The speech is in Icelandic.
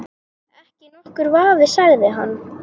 Ekki nokkur vafi sagði hann.